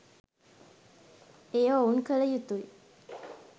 එය ඔවුන් කල යුතුයි